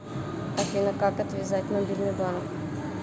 афина как отвязать мобильный банк